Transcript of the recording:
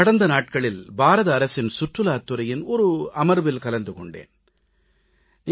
கடந்த நாட்களில் பாரத அரசின் சுற்றுலாத் துறையின் அமர்வு ஒன்றில் கலந்து கொண்டேன்